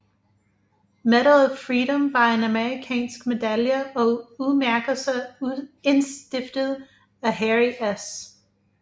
Medal of Freedom var en amerikansk medalje og udmærkelse indstiftet af Harry S